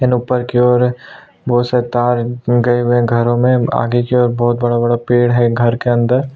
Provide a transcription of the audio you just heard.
घरों में आगे की ओर बहुत बड़ा -बड़ा पेड़ है घर के अंदर --